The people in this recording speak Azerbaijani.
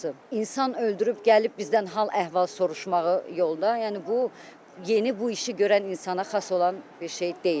İnsan öldürüb gəlib bizdən hal əhval soruşmağı yolda, yəni bu yeni bu işi görən insana xas olan bir şey deyil.